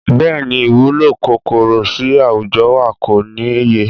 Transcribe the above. Bẹ́ẹ̀ni, ìwúlò kòkòrò sì àwùjọ wa kò níye.